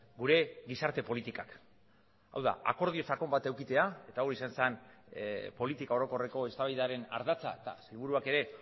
gure gizarte politikak hau da akordio sakon bat edukitzea eta hau izan zen politika orokorreko eztabaidaren ardatza eta seguruak ere